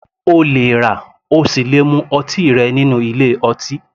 O lè rà ,o sì le mu ọtí rẹ nínú ilé ọtí